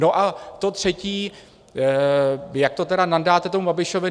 No a to třetí, jak to tedy nandáte tomu Babišovi.